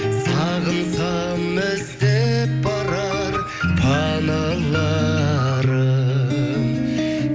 сағынсам іздеп барар паналарым